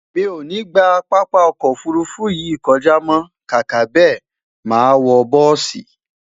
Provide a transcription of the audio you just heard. mí o ní gbà pápá ọkọ òfurufú yìí kọjá mọ, kàkà bẹ, má wò bùsi